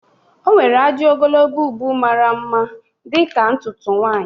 O nwere ajị ogologo ubu mara mma dịka ntutu nwanyị